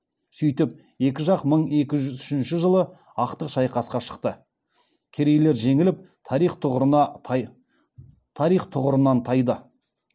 сөйтіп екі жақ мың екі жүз үшінші жылы ақтық шайқасқа шықты керейлер жеңіліп тарих тұғырынан тайды